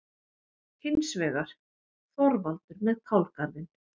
Hins vegar: Þorvaldur með kálgarðinn.